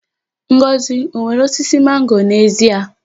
Ngọzị o nwere osisi mango n'ezi ya?